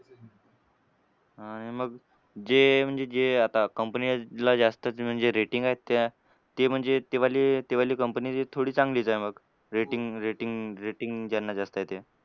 आणि मग जे म्हणजे जे आता company ला जास्तच म्हणजे rating आहेत त्या ते म्हणजे ते वाले ते वाली company चे थोडी चांगली येते मग. Rating rating rating ज्यांना जास्त आहे ते.